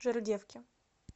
жердевке